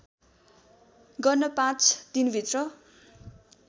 गर्न पाँच दिनभित्र